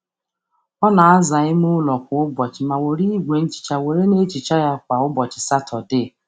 Ọ na-aza ime ụlọ kwa ụbọchị ma were igwe nhicha were na ehicha ya kwa ụbọchị Satọdee